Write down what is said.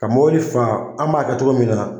Ka mɔbili faa an b'a kɛ togo min na